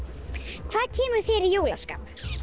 hvað kemur þér í jólaskap